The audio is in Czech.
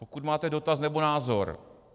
Pokud máte dotaz nebo názor.